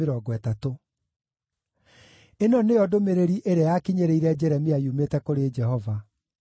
Ĩno nĩyo ndũmĩrĩri ĩrĩa yakinyĩrĩire Jeremia yumĩte kũrĩ Jehova: